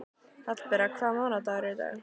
Hallbera, hvaða mánaðardagur er í dag?